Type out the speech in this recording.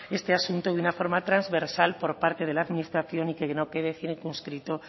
este asunto de una forma transversal por parte de la administración y que no quede circunscrito